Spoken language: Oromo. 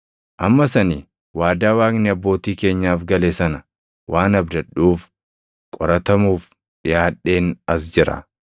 Ammas ani waadaa Waaqni abbootii keenyaaf gale sana waan abdadhuuf qoratamuuf dhiʼaadheen as jira.